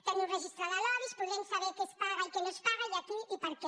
tenir un registre de lobbys podrem saber què es paga i què no es paga i a qui i per què